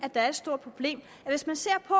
ser et stort problem i hvis man ser på